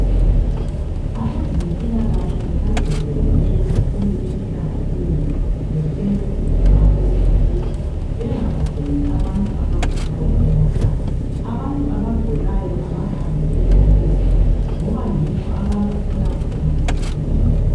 Abezempilakahle bagcizelele kakhulu emhlanganweni betshela izakhamuzi ukuthi bengabagcini abantu abagulayo emakhaya. Abantu abagulayo abahambe ezibhedlela ngoba yikho abazathola khona usizo.